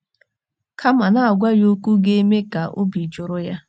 Kama, na - agwa ya okwu ga - eme ka obi jụrụ ya.